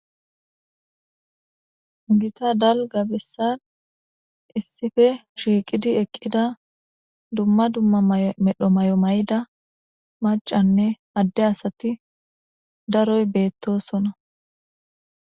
Ugita dalga bessan issife shiiqidi eqqida dumma dumma ymedho may7o may7da macanne adde asati daroy beettosona.